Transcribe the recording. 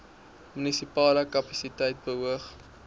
munisipale kapasiteit beoog